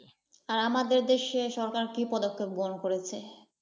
হ্যাঁ! আমাদের দেশের সরকার কি পদক্ষেপ গ্রহন করেছে?